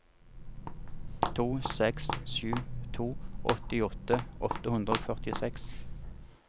to seks sju to åttiåtte åtte hundre og førtiseks